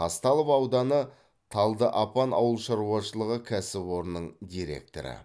казталов ауданы талдыапан ауыл шаруашылығы кәсіпорнының директоры